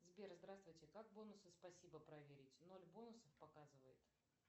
сбер здравствуйте как бонусы спасибо проверить ноль бонусов показывает